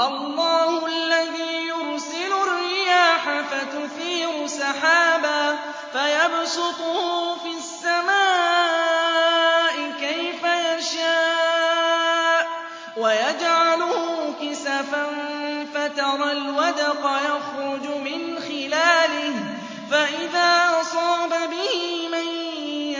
اللَّهُ الَّذِي يُرْسِلُ الرِّيَاحَ فَتُثِيرُ سَحَابًا فَيَبْسُطُهُ فِي السَّمَاءِ كَيْفَ يَشَاءُ وَيَجْعَلُهُ كِسَفًا فَتَرَى الْوَدْقَ يَخْرُجُ مِنْ خِلَالِهِ ۖ فَإِذَا أَصَابَ بِهِ مَن